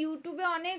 ইউটিঊবে অনেক